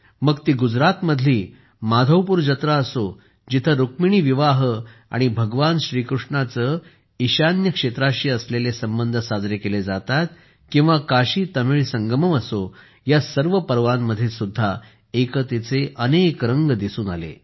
मग ती गुजरातमधली माधवपुर जत्रा असो जिथे रुक्मिणी विवाह आणि भगवान श्रीकृष्णाचे ईशान्य क्षेत्राशी असलेले संबंध साजरे केले जातात किंवा काशीतमिळ संगमम असो या सर्व पर्वांमध्ये सुद्धा एकतेचे अनेक रंग दिसून आले